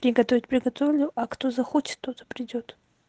приготовить приготовлю а кто захочет тот и придёт